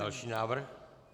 Další návrh.